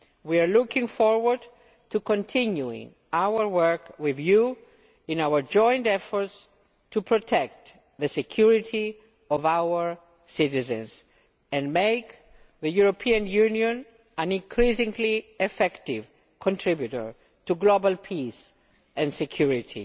We look forward to continuing our work with you in our joint efforts to protect the security of our citizens and make the European Union an increasingly effective contributor to global peace and security.